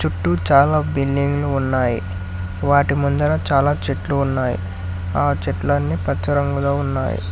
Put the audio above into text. చుట్టూ చాలా బిల్డింగ్లు ఉన్నాయి వాటి ముందర చాలా చెట్లు ఉన్నాయి ఆ చెట్లన్నీ పచ్చ రంగులో ఉన్నాయి.